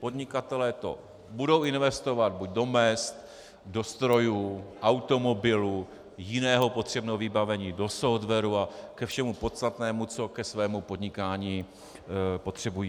Podnikatelé to budou investovat buď do mezd, do strojů, automobilů, jiného potřebného vybavení, do softwaru a ke všemu podstatnému, co ke svému podnikání potřebují.